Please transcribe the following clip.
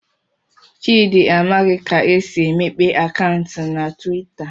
Chidi amaghị ka esi emepee akaụntụ na Twitter